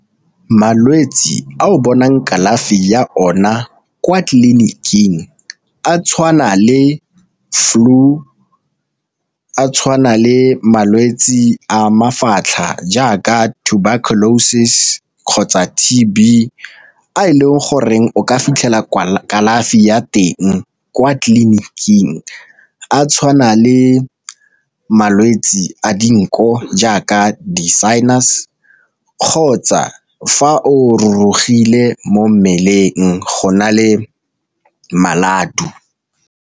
Malwetse a o bonang kalafi ya ona kwa tleliniking a tshwana le flue a tshwana le malwetsi a mafatlha jaaka tuberculosis kgotsa T_B a e leng goreng o ka fitlhela kalafi ya teng kwa tleliniking, a tshwana le malwetsi a dinko jaaka di-sinus kgotsa fa o rurugile mo mmeleng go na le maladu.